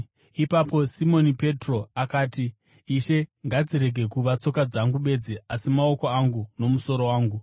Ipapo Simoni Petro akati, “Ishe, ngadzirege kuva tsoka dzangu bedzi asi maoko angu nomusoro wanguwo!”